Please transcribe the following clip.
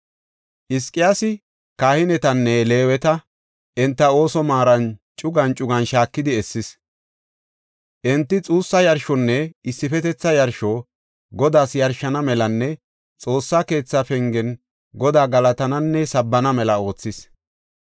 Hizqiyaasi kahinetanne Leeweta enta ooso maaran cugan cugan shaakidi essis. Enti xuussa yarshonne issifetetha yarsho Godaas yarshana melanne Xoossa keetha pengen Godaa galatananne sabbana mela oothis.